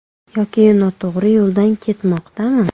Yoki u noto‘g‘ri yo‘ldan ketmoqdami?